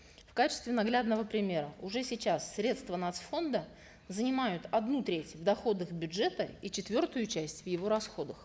в качестве наглядного примера уже сейчас средства нац фонда занимают одну треть доходов бюджета и четвертую часть в его расходах